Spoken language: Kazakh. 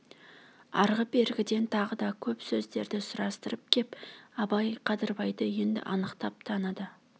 арғы-бергіден тағы да көп сөздерді сұрастырып кеп абай қадырбайды енді анық таныды